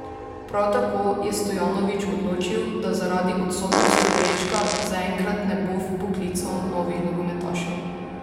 Prav tako je Stojanović odločil, da zaradi odsotnosti Brečka zaenkrat ne bo vpoklical novih nogometašev.